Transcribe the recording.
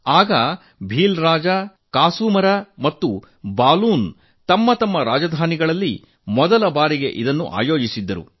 ಆಗ ಭೀಲ್ಲರ ದೊರೆ ಕಸುಮರಾ ಮತ್ತು ಬಲುನ್ ಮೊದಲ ಬಾರಿಗೆ ತಮ್ಮ ತಮ್ಮ ರಾಜಧಾನಿಗಳಲ್ಲಿ ಇದನ್ನು ಆಯೋಜಿಸಿದ್ದರು